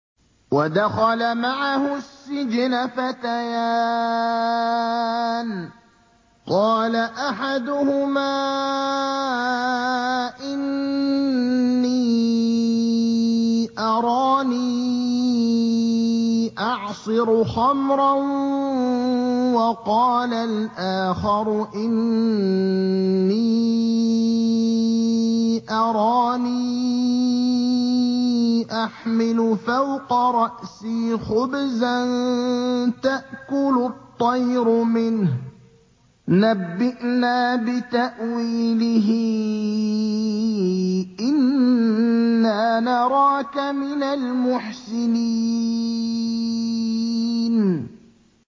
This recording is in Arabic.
وَدَخَلَ مَعَهُ السِّجْنَ فَتَيَانِ ۖ قَالَ أَحَدُهُمَا إِنِّي أَرَانِي أَعْصِرُ خَمْرًا ۖ وَقَالَ الْآخَرُ إِنِّي أَرَانِي أَحْمِلُ فَوْقَ رَأْسِي خُبْزًا تَأْكُلُ الطَّيْرُ مِنْهُ ۖ نَبِّئْنَا بِتَأْوِيلِهِ ۖ إِنَّا نَرَاكَ مِنَ الْمُحْسِنِينَ